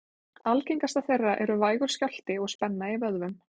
algengastar þeirra eru vægur skjálfti og spenna í vöðvum